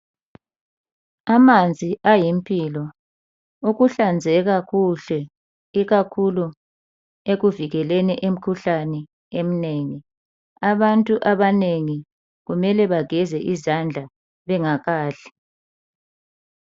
Amanzi ayimpilo. Ukuhlanzeka kuhle ikakhulu ekuvikeleni imikhuhlane eminengi. Abantu abanengi kumele bageze izandla bengakadli .